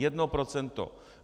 Jedno procento!